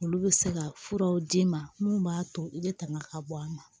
Olu bɛ se ka furaw d'i ma mun b'a to i bɛ tanga ka bɔ a ma